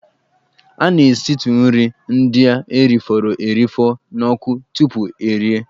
A na-esitụ nri ndị e rifọrọ erifọ n'ọkụ tupu erie.